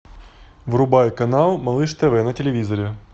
врубай канал малыш тв на телевизоре